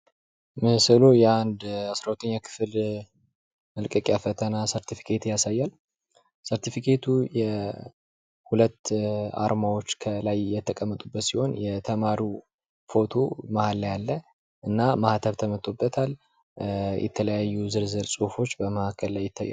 ምስሉ የአንድ አስራ ሁለተኛ ክፍል መልቀቂያ ፈተና ሰርተፍኬት ያሳያል ። ሰርተፍኬቱ ሁለት አርማዎች ከላይ የተቀመጡበት ሲሆን የተማሪው ፎቶ ማህል ላይ አለ ። እና ማህተም ተመቶበታል የተለያዩ ዝርዝር ጽሑፎች በመሀከል ላይ ይታያል።